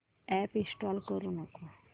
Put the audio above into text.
app install करू नको